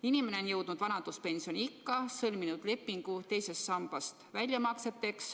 Inimene on jõudnud vanaduspensioniikka ja sõlminud lepingu II samba väljamakseteks.